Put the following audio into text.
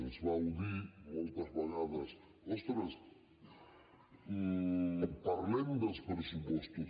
ens vau dir moltes vegades ostres parlem dels pressupostos